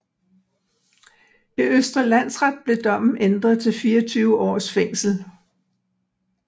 I Østre Landsret blev dommen ændret til 24 års fængsel